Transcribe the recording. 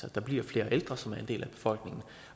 at der bliver flere ældre som er en del af befolkningen og